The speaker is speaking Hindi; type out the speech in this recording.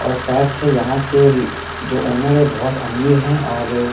और शायद से यहां के जो ओनर है बहुत अमीर है और--